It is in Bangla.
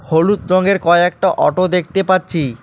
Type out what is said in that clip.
হলুদ রঙের কয়েকটা অটো দেখতে পাচ্ছি।